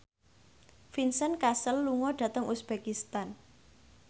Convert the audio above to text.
Vincent Cassel lunga dhateng uzbekistan